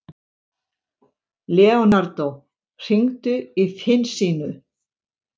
Leonardo, hringdu í Finnsínu.